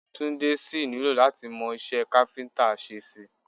Túndé sì nílò láti mọ iṣẹ́ káfíńtà ṣe sí i